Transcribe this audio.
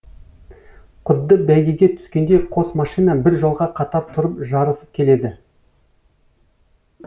құдды бәйгеге түскендей қос машина бір жолға қатар тұрып жарысып келеді